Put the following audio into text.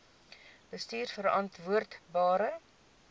bestuurverantwoordbare